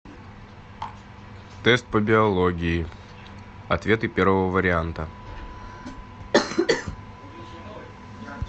тест по биологии ответы первого варианта